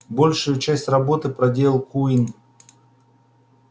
большую часть работы проделал куинн